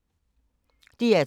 DR P3